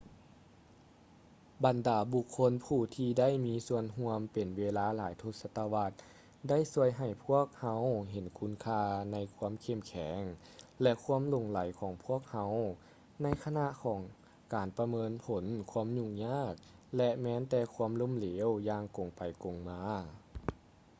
ບັນດາບຸກຄົນຜູ້ທີ່ໄດ້ມີສ່ວນຮ່ວມເປັນເວລາຫຼາຍທົດສະວັດ ໄດ້ຊ່ວຍໃຫ້ພວກເຮົາເຫັນຄຸນຄ່າໃນຄວາມເຂັ້ມແຂງ ແລະ ຄວາມຫຼົງໄຫຼຂອງພວກເຮົາ ໃນຂະນະຂອງການປະເມີນຜົນຄວາມຫຍຸ້ງຍາກ ແລະ ແມ່ນແຕ່ຄວາມລົ້ມເເຫຼວ ຢ່າງກົງໄປກົງມາ